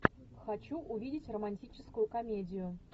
хочу увидеть романтическую комедию